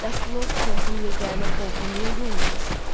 Bəs Lord Kentin yeganə oğlu niyə yolun azdı?